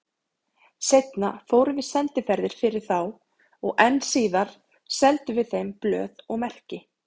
Seinna fórum við sendiferðir fyrir þá og enn síðar seldum við þeim blöð og merki.